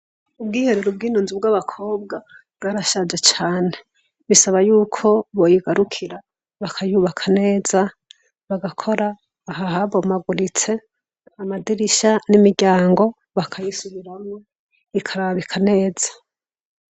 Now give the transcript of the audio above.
Ubwiherero bw'inunzi bw'abakobwa bwarashaje cane bisaba yuko boyigarukira bakayubaka neza bagakora ahahabo maguritse amadirisha n'imiryango bakayisubiramwe ikarabika neza.